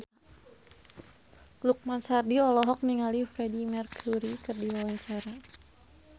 Lukman Sardi olohok ningali Freedie Mercury keur diwawancara